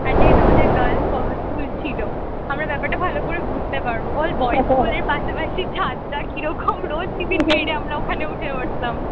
আর যেহেতু আমাদের girls college~ school ছিল আমরা ব্যাপারটা ভালো করে বুঝতে পারবো বল boys স্কুলের পাশাপাশি ছাদটা কিরকম রোজ tiffin time এ আমরা ওখানে উঠে পড়তাম